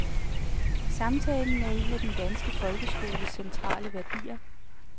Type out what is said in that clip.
Samtalen er en af den danske folkeskolens centrale værdier.